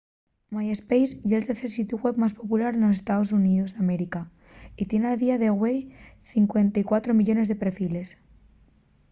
myspace ye’l tercer sitiu web más popular nos estaos xuníos d’américa y tien a día de güei 54 millones de perfiles